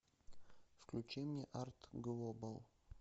включи мне арт глобал